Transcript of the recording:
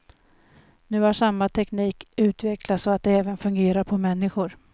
Nu har samma teknik utvecklats så att det även fungerar på människor.